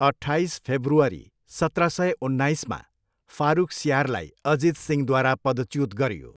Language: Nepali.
अट्ठाइस फेब्रुअरी सत्र सय उन्नाइसमा, फारुखसियारलाई अजित सिंहद्वारा पदच्युत गरियो।